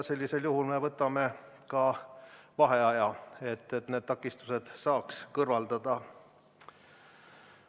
Sellisel juhul me võtame ka vaheaja, et need takistused saaks kõrvaldada.